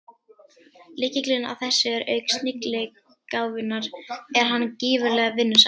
Lykillinn að þessu er að auk snilligáfunnar er hann gífurlega vinnusamur.